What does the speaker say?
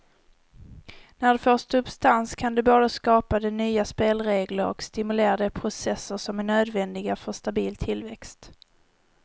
När det får substans kan det både skapa de nya spelregler och stimulera de processer som är nödvändiga för stabil tillväxt.